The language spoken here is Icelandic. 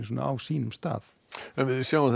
á sínum stað en við sjáum